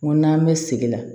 N ko n'an bɛ sigi la